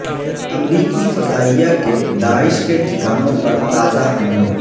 امریکی فضائیہ کے داعش کے ٹھکانوں پر تازہ حملے